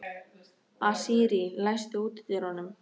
Asírí, læstu útidyrunum.